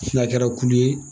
N'a kɛra kulu ye